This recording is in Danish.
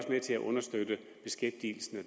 med til at understøtte beskæftigelsen